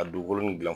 A dugukolo nin gilan